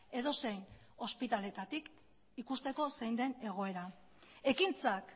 edozein ospitaletatik ikusteko zein den egoera ekintzak